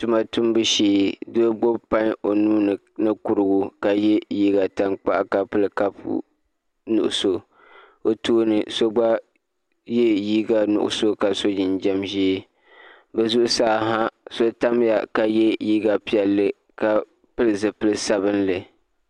Tuma tumbu shee doo gbubi pai o nuuni ni kurigu ka yɛ liiga tankpaɣu ka pili kapu nuɣso o tooni so gba yɛ liiga nuɣso ka so jinjɛm ʒiɛ bi zuɣusaa ha so tamya ka yɛ liiga piɛlli ka pili zipili sabinli